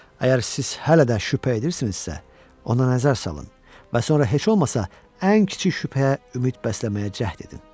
Əgər siz hələ də şübhə edirsinizsə, ona nəzər salın və sonra heç olmasa ən kiçik şübhəyə ümid bəsləməyə cəhd edin.